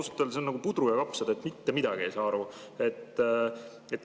Ausalt öeldes see on nagu pudru ja kapsad, mitte midagi ei saa aru.